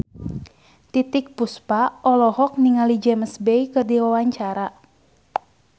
Titiek Puspa olohok ningali James Bay keur diwawancara